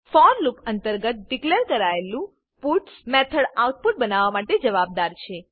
four loop અંતર્ગત declare કરાયેલું puts method output બનાવવા માટે જવાબદાર છે